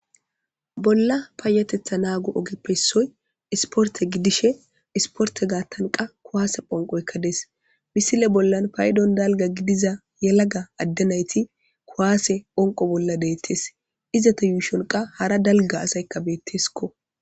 Bolla paayatetha naagu ogeppessoy isporte gidishe isporte gaattanqa kuwaase phonqoykka des misile bollan paydon dalga gidiza yalaga addenayti kuwaase phonqo bolla deettes izata yuushonqa hara dalga asaykka beetteskko.